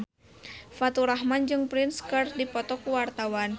Faturrahman jeung Prince keur dipoto ku wartawan